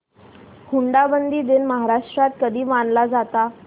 हुंडाबंदी दिन महाराष्ट्रात कधी मानला जातो